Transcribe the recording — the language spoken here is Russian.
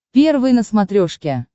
первый на смотрешке